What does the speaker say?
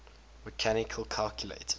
mechanical calculators